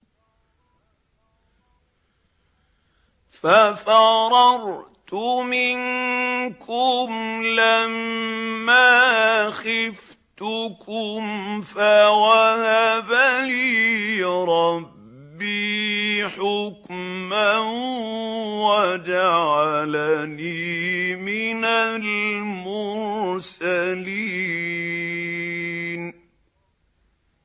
فَفَرَرْتُ مِنكُمْ لَمَّا خِفْتُكُمْ فَوَهَبَ لِي رَبِّي حُكْمًا وَجَعَلَنِي مِنَ الْمُرْسَلِينَ